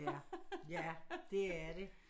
Ja ja det er det